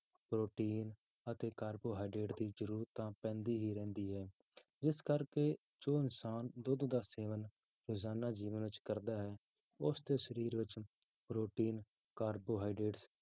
protein ਅਤੇ carbohydrate ਦੀ ਜ਼ਰੂਰਤ ਤਾਂ ਪੈਂਦੀ ਹੀ ਰਹਿੰਦੀ ਹੈ, ਜਿਸ ਕਰਕੇ ਜੋ ਇਨਸਾਨ ਦੁੱਧ ਦਾ ਸੇਵਨ ਰੋਜ਼ਾਨਾ ਜੀਵਨ ਵਿੱਚ ਕਰਦਾ ਹੈ ਉਸਦੇ ਸਰੀਰ ਵਿੱਚ ਪ੍ਰੋਟੀਨ carbohydrate